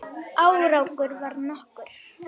Árangur varð nokkur.